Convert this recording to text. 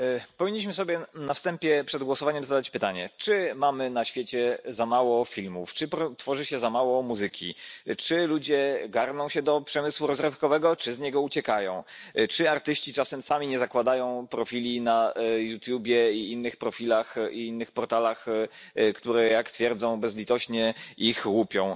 Powinniśmy sobie na wstępie, przed głosowaniem, zadać pytanie, czy mamy na świecie za mało filmów, czy tworzy się za mało muzyki, czy ludzie garną się do przemysłu rozrywkowego, czy z niego uciekają, czy artyści czasem sami nie zakładają profili na YouTube i innych portalach, które jak twierdzą bezlitośnie ich łupią.